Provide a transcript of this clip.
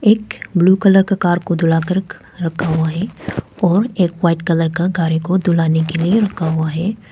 एक blue colour का car को धुलाकर रखा हुआ है और एक वाइट कलर का कार को धुलने के लिए रुका हुआ है।